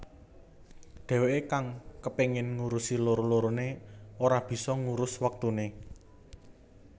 Dheweké kang kepengin ngurusi loro loroné ora bisa ngurus wektuné